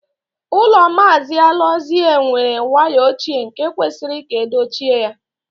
Ụlọ Maazị Alozie were waya ochie nke kwesịrị ka edochie ya.